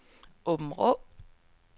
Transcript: Åbenrå